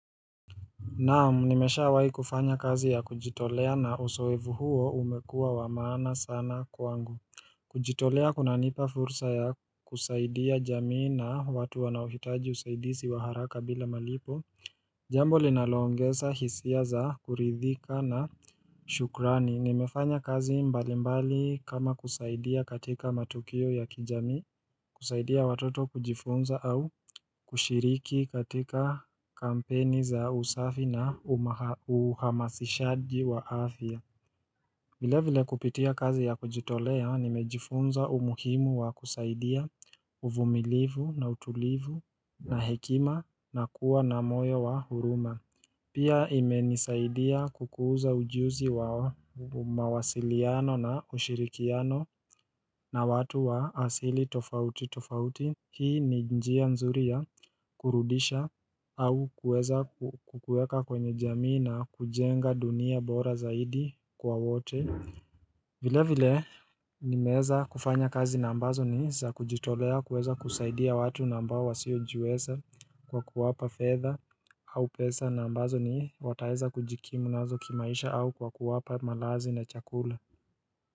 Naam nimesha wahi kufanya kazi ya kujitolea na usoevu huo umekuwa wa maana sana kwangu kujitolea kuna nipa fursa ya kusaidia jamii na watu wanaohitaji usaidisi wa haraka bila malipo Jambo linalo ongeza hisia za kuridhika na shukrani nimefanya kazi mbali mbali kama kusaidia katika matukio ya kijamii kusaidia watoto kujifunza au kushiriki katika kampeni za usafi na uhamasishaji wa afya vile vile kupitia kazi ya kujitolea nimejifunza umuhimu wa kusaidia uvumilivu na utulivu na hekima na kuwa na moyo wa huruma Pia imenisaidia kukuza ujuzi wa mawasiliano na kushirikiano na watu wa asili tofauti tofauti Hii ni njia nzuri ya kurudisha au kueza kukueka kwenye jamii na kujenga dunia bora zaidi kwa wote vile vile nimeeza kufanya kazi na ambazo ni za kujitolea kuweza kusaidia watu nambao wasiojiweza kwa kuwapa fedha au pesa na ambazo ni wataeza kujikimu nazo kimaisha au kwa kuwapa malazi na chakula.